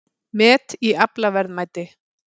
Met í aflaverðmæti